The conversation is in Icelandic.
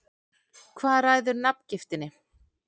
Hvað ræður nafngiftinni?